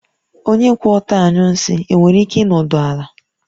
Onye kwụ ọtọ anyụ nsị e nwere ike ịnọdụ ala?